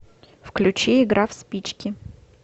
включи игра в спички